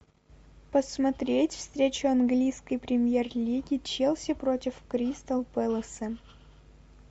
посмотреть встречу английской премьер лиги челси против кристал пэласа